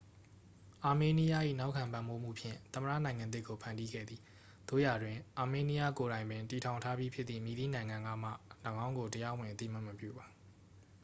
အာမေးနီးယား၏ နောက်ခံပံ့ပိုးမှုဖြင့် သမ္မတနိုင်ငံသစ်ကို ဖန်တီးခဲ့သည် သို့ရာတွင် အာမေးနီးယားကိုယ်တိုင်ပင်တည်ထောင်ထားပြီးဖြစ်သည့် မည်သည့်နိုင်ငံကမှ ၎င်းကို တရားဝင် အသိအမှတ်မပြုပါ